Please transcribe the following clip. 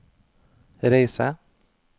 reise